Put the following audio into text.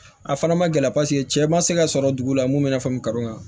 A fana ma gɛlɛ paseke cɛ ma se ka sɔrɔ dugu la mun bɛ n'a fɔ karɔ